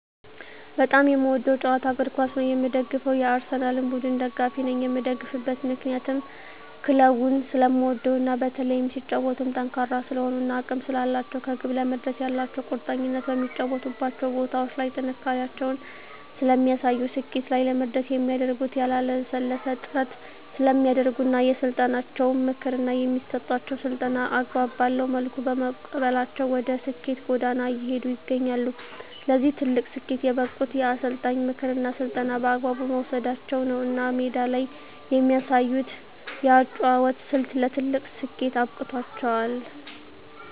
በጣም የምወደዉ ጨዋታ እግርኳስ ነዉ የምደግፈዉም የአርሰላን ቡድን ደጋፊ ነኝ የምደግፍበት ምክንያት ክለቡን ስለምወደዉ እና በተለይም ሲጫወቱም ጠንካራ ስለሆኑ እና አቅም ስላላቸዉ ከግብ ለመድረስ ያላቸዉ ቁርጠኝነት በሚጫወቱባቸዉ ቦታዎች ላይ ጥንካሬያቸውን ስለሚያሳዩ ስኬት ላይ ለመድረስ የሚያደርጉት ያላለሰለሰ ጥረት ስለሚያደርጉ እና የአሰልጣኛቸዉን ምክር እና የሚሰጣቸዉን ስልጠና አግባብ ባለዉ መልኩ በመቀበላቸዉ ወደ ስኬት ጎዳና እየሄዱ ይገኛሉ ለዚህ ትልቅ ስኬት የበቁት የአሰልጣኝን ምክርና ስልጠና በአግባቡ መዉሰዳቸዉ ነዉ እና ሜዳ ላይ የሚያሳዩት የአጨዋወት ስልት ለትልቅ ስኬት አብቅቷቸዋል